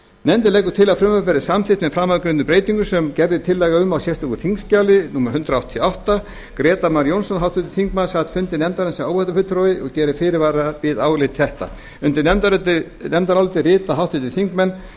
nefndin leggur til að frumvarpið verði samþykkt með framangreindum breytingum sem gerð er tillaga um í sérstöku þingskjali númer hundrað áttatíu og átta grétar mar jónsson háttvirtur þingmaður sat fund nefndarinnar sem áheyrnarfulltrúi og gerir fyrirvara við álit þetta undir nefndarálitið rita háttvirtir þingmenn